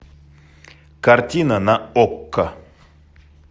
картина на окко